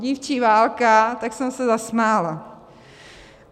Dívčí válka, tak jsem se zasmála.